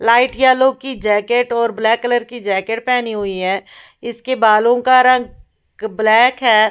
Light yellow की jacket और black colour की जैकेट पहनी हुई है इसके बालों का रंग ब्लैक है।